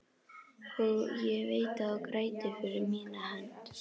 Og ég veit þú grætur fyrir mína hönd.